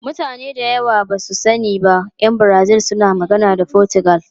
Mutane da yawa ba su sani ba, ’yan Brazil suna magana da Fotigal.